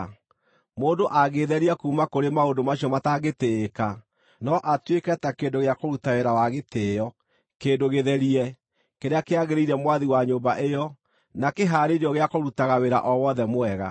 Mũndũ angĩĩtheria kuuma kũrĩ maũndũ macio matangĩtĩĩka, no atuĩke ta kĩndũ gĩa kũruta wĩra wa gĩtĩĩo, kĩndũ gĩtherie, kĩrĩa kĩagĩrĩire Mwathi wa nyũmba ĩyo na kĩhaarĩirio gĩa kũrutaga wĩra o wothe mwega.